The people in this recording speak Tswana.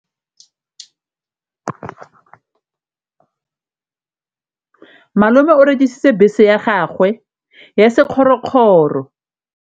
Malome o rekisitse bese ya gagwe ya sekgorokgoro.